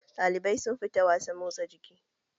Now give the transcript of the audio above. Ɗalibai sun fita wasan motsa jiki